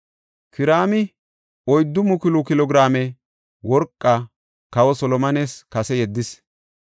Kiraami 4,000 kilo giraame worqaa kawa Solomones kase yeddis.